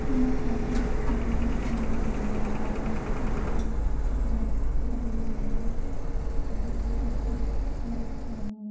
यहाँ पर आप देख सकते हो की एक म मैदान है जिसमे हरे हरे पत्ते लगे हुए है और जिसमे छोटी-छोटी कुछ कलाकृति बनी हुई--